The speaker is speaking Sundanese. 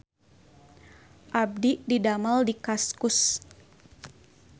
Abdi didamel di Kaskus